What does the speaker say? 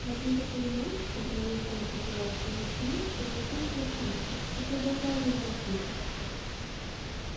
в одну такую ночь когда весь дом покоился во сне белый клык проснулся но продолжал лежать тихо